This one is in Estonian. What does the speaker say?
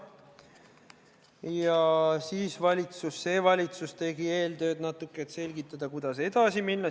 Ja siis valitsus tegi eeltööd natuke, et selgitada, kuidas edasi minna.